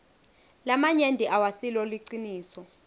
lamanyenti awasilo liciniso